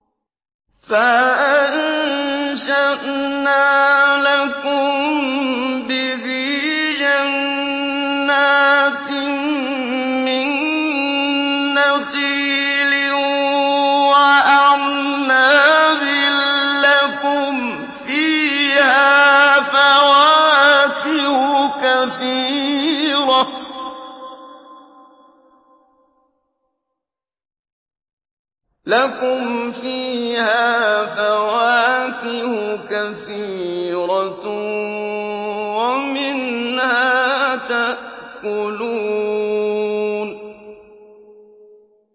فَأَنشَأْنَا لَكُم بِهِ جَنَّاتٍ مِّن نَّخِيلٍ وَأَعْنَابٍ لَّكُمْ فِيهَا فَوَاكِهُ كَثِيرَةٌ وَمِنْهَا تَأْكُلُونَ